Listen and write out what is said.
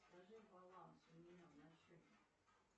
скажи баланс у меня на счете